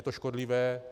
Je to škodlivé?